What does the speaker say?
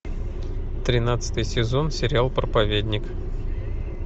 тринадцатый сезон сериал проповедник